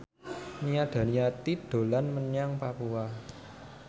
Nia Daniati dolan menyang Papua